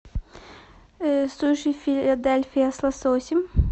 суши филадельфия с лососем